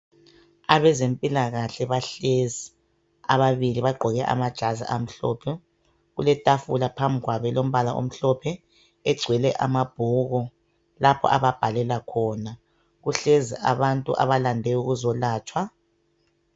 Abazempilakahle bahlezi ababili bagqoke amajazi amhlophe. Kuletafula phambi kwabo elombala omhlophe egcwele amabhuku lapho ababhalela khona. Kuhlezi abantu abalande ukuzolatshwa.